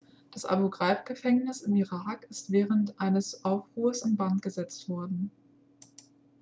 das abu-ghraib-gefängnis im irak ist während eines aufruhrs in brand gesetzt worden